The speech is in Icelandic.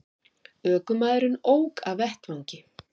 Ökumaðurinn ók af vettvangi